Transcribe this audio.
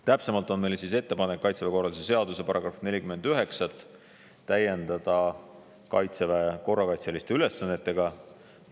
Täpsemalt on meil ettepanek Kaitseväe korralduse seaduse § 49 täiendada Kaitseväe korrakaitseliste ülesannetega.